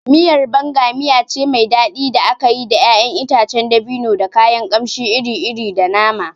Miyar Banga miya ce mai daɗi da aka yi da ƴaƴan itacen dabino, da kayan kamshi iri-iri, da nama.